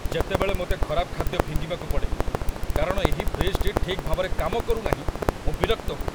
ଯେତେବେଳେ ମୋତେ ଖରାପ ଖାଦ୍ୟ ଫିଙ୍ଗିବାକୁ ପଡ଼େ କାରଣ ଏହି ଫ୍ରିଜ୍‌ଟି ଠିକ୍ ଭାବରେ କାମ କରୁନାହିଁ, ମୁଁ ବିରକ୍ତ ହୁଏ!